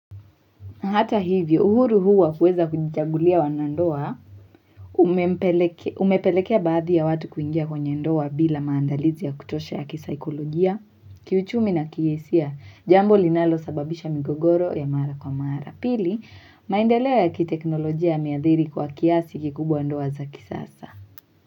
Hata hivyo uhuru huwa kuweza kujagulia wanandoa umepelekea baadhi ya watu kuingia kwenye ndoa bila maandalizi ya kutosha ya kisaikolojia, kiuchumi na kihisia jambo linalo sababisha migogoro ya mara kwa mara. Pili maindaleo ya kiteknolojia ya miadhiri kwa kiasi kikubwa ndoa za kisasa.